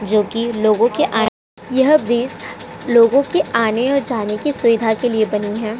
जो कि लोगों के आ। यह ब्रिज लोगों के आने और जाने की सुविधा के लिए बनी है।